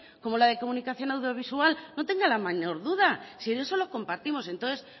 como la de comunicación audiovisual no tenga la mayor duda si en eso lo compartimos entonces